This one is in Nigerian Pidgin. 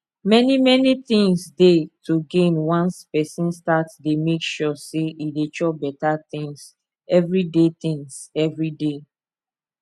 many many things dey to gain once person start dey make sure say e dey chop better things every day things every day